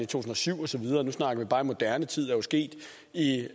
tusind og syv og så videre og nu snakker vi bare moderne tid